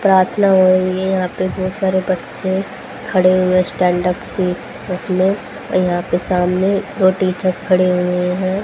प्रार्थना हो रही है यहां बहुत सारे बच्चे खड़े हुए हैं स्टैंड अप के उसमें यहां पे सामने दो टीचर खड़े हुए हैं।